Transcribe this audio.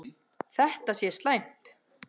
Þetta sé slæmt.